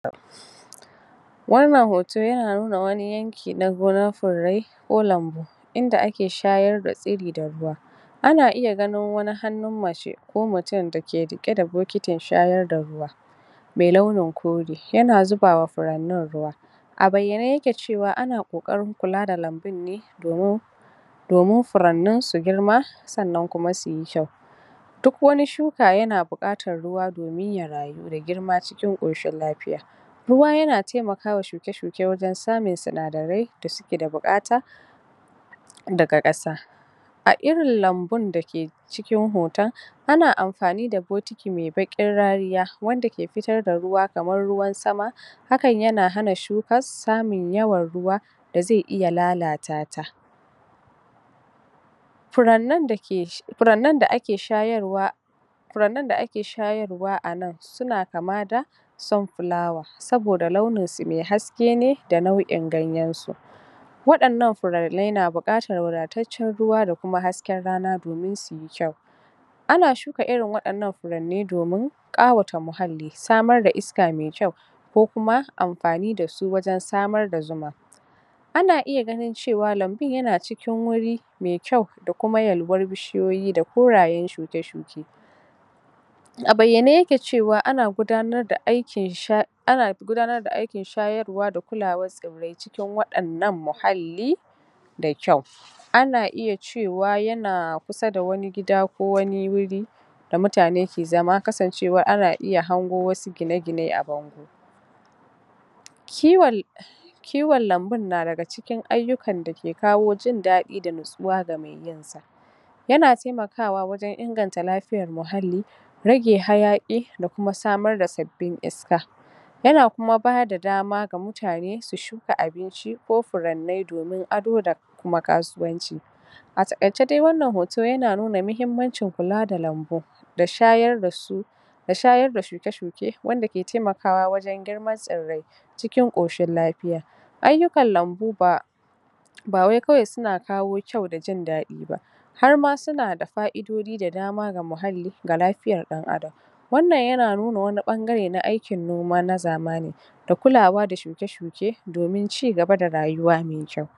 wannan hoto yana nuna wani yanki na gonar furrai ko lambu inda ake shayar da tsiri da ruwa ana iya ganin wani hannun mace ko mutum da ke riƙe da bokitin shayar da ruwa me launin kore yana zuba wa furannin ruwa a bayyane yake cewa ana ƙoƙarin kula da lambun ne domin domin furannin su girma sannan kuma suyi kyau duk wani shuka yana buƙatar ruwa domin ya rayu da girma cikin ƙoshin lafiya ruwa yana temakawa shuke-shuke wajen samun sinadarai da suke da buƙata daga ƙasa a irin lambun da ke cikin hotan ana amfani da bokiti me baƙin rariya wanda ke fitar da ruwa kamar ruwan sama hakan yana hana shukas samun yawan ruwa da ze iya lalata ta furannin da ke furannin da ake shayarwa furannin da ake shayarwa a nan suna kama da sunflower saboda launin su me haske ne da nau'in ganyen su waɗannan furanne na buƙatar wadataccen ruwa da kuma hasken rana domin suyi kyau ana shuka irin waɗannan furanne domin ƙawata muhalli samar da iska me kyau ko kuma amfani da su wajen samar da zuma ana iya ganin cewa lambun yana cikin wuri me kyau da kuma yalwan bishiyoyi da korayen shuke-shuke a bayyane yake cewa ana gudanar da aikin sha ana gudanar da aikin shayarwa da kulawar tsirrai cikin waɗannan muhalli da kyau ana iya cewa yana kusa da wani gida ko wani wuri da mutane ke zama kasancewar ana iya hango wasu gine-gine a bango kiwon kiwon lambun na daga cikin ayyukan da ke kawo jin daɗi da natsuwa ga me yin sa yana temakawa wajen inganta lafiyar muhalli rage hayaƙi da kuma samar da sabbin iska yana kuma bada dama ga mutane su shuka abinci ko furanne domin ado da kuma kasuwanci a taƙaice dai wannan hoto yana nuna muhimmancin kula da lambu da shayar da su da shayar da shuke-shuke wanda ke temakawa wajen girman tsirrai cikin ƙoshin lafiya ayyukan lambu ba ba wai kawai suna kawo kyau da jin daɗi ba har ma suna da fa'idodi da dama ga muhalli ga lafiyar ɗan Adam wannan yana nuna wani ɓangare na aikin noma na zamani da kulawa da shuke-shuke domin cigaba da rayuwa me kyau